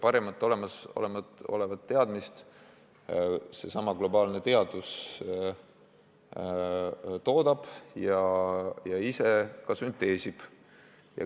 Parimat olemasolevat teadmist seesama globaalne teadus toodab ja ise ka sünteesib.